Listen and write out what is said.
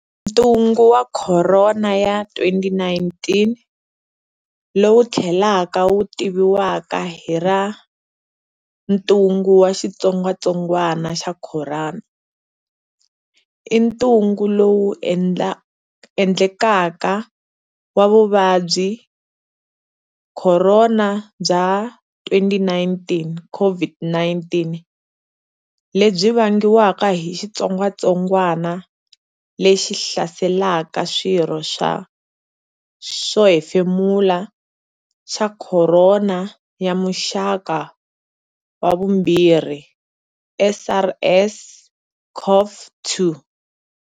Ntungu wa Khorona ya 2019, lowu thlelaka wu tiviwaka hi ra Ntungu wa xitsongwatsongwana xa khorona, i tnungu lowu endlekaka wa Vuvabyi bya Khorona bya 2019,COVID-19, lebyi vangiwaka hi xitsongwatsongwana le xi hlaselaka swirho swo hefemula xa khorona ya muxaka wa vumbirhi, SARS-CoV-2.